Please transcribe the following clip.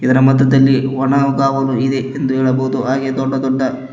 ಇದರ ಮಧ್ಯದಲ್ಲಿ ಒಣಗಾವಲು ಇದೆ ಎಂದು ಹೇಳಬಹುದು ಹಾಗೆ ದೊಡ್ಡ ದೊಡ್ಡ --